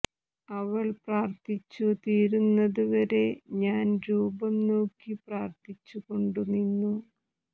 അവൾ പ്രാർത്ഥിച്ചു തീരുന്നത് വരെ ഞാൻ രൂപം നോക്കി പ്രാർത്ഥിച്ചു കൊണ്ടു നിന്നു